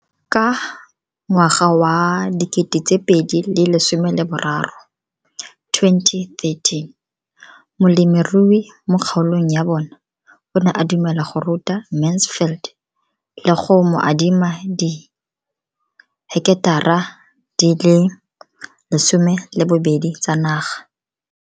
Ka ngwaga wa 2013, molemirui mo kgaolong ya bona o ne a dumela go ruta Mansfield le go mo adima di heketara di le 12 tsa naga.